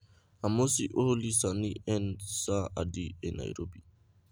Amosi olly sani en saa adi e Nairobi